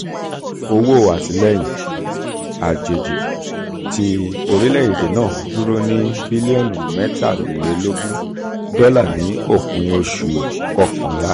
owó um àtìlẹ́yìn àtìlẹ́yìn àjèjì ti orílẹ̀-èdè náà dúró ní bílíọ̀nù mẹ́tàlélógún dọ́là ní òpin oṣù um kọkànlá oṣù.